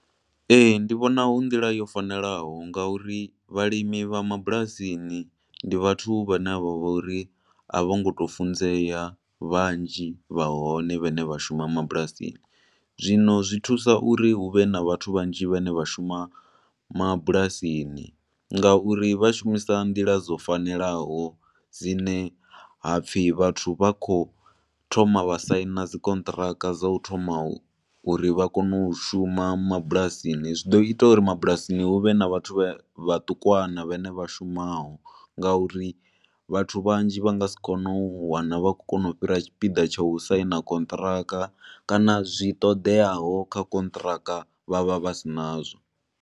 Ee, ndi vhona hu nḓila yo fanelaho nga uri vhalimi vha mabulasini ndi vhathu vha ne vha vha uri a vhongo to funzea vhanzhi vha hone vhane vha shuma mabulasini. Zwino zwi thusa uri hu vhe na vhathu vhanzhi vhane vha shuma mabulasini ngauri vha shumisa nḓila dzo fanelaho dzine hapfi vhathu vha khou thoma vha saina dzikonṱhiraka dza u thoma, uri vha kone u shuma mabulasini. Zwi ḓo ita uri mabulasini huvhe na vhathu vhe vhaṱukwana vhane vha shumaho, ngauri vhathu vhanzhi vha nga si kone u wana vha khou kona u fhira tshipiḓa tsha u saina konṱhiraka, kana zwi toḓeaho kha konṱhiraka, vha vha vha si na zwo.